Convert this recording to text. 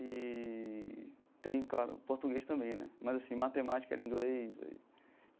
Eee tem, claro, português também né, mas assim matemática era em inglês e.